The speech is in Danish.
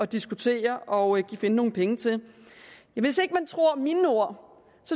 diskutere og finde nogle penge til hvis ikke man tror mine ord